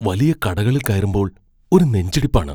വലിയ കടകളിൽ കയറുമ്പോൾ ഒരു നെഞ്ചിടിപ്പാണ്.